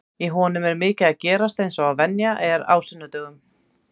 Í honum er mikið að gerast eins og venjan er á sunnudögum.